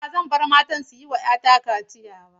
Ba zan bar matan su yi wa 'yata kaciya ba.